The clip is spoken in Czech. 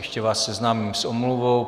Ještě vás seznámím s omluvou.